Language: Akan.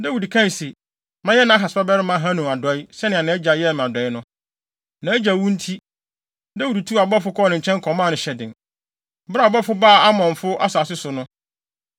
Dawid kae se, “Mɛyɛ Nahas babarima Hanun adɔe, sɛnea nʼagya yɛɛ me adɔe no.” Nʼagya wu nti, Dawid tuu abɔfo kɔɔ ne nkyɛn kɔmaa no hyɛden. Bere a Dawid abɔfo baa Amonfo asase so no,